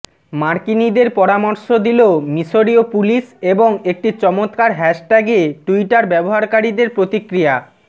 মার্কিনীদের পরামর্শ দিল মিসরিয় পুলিশ এবং একটি চমৎকার হ্যাশট্যাগে টুইটার ব্যবহারকারীদের প্রতিক্রিয়া